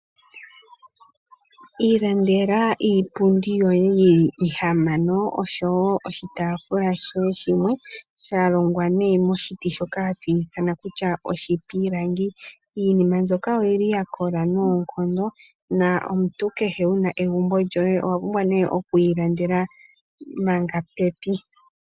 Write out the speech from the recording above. Ilandela iipundi yoye yili ihamano oshowo oshitaafula shoye shimwe sha longwa nee moshiti shoka hatu ithana kutya oshipilangi. Iinima mbyoka oyili ya kola noonkondo na omuntu kehe wuna egumbo lyoye owa pumbwa nee okwi ilandela manga kuyele.